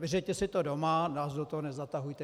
Vyřiďte si to doma, nás do toho nezatahujte.